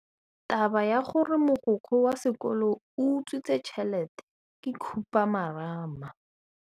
Taba ya gore mogokgo wa sekolo o utswitse tšhelete ke khupamarama.